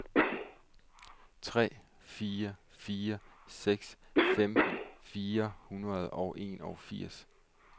tre fire fire seks femten fire hundrede og enogfirs